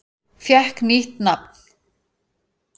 Fékk nýtt nafn